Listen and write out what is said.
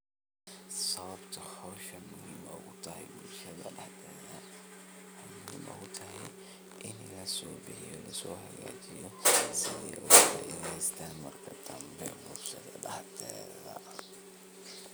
Sababta hoshan muhim ogu utahay bulshada daxdeda inlaso bixiyo lasohagajiyo siday oga faideysan marka